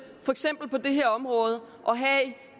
at have